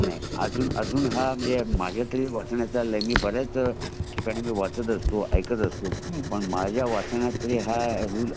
नाही अजून तरी माझ्या वाचण्यात नही आले . बऱ्याच ठिकाणी मी वाचत असतो ऐकत असतो पण माझ्या वाचण्यात तरी अजून हा रूल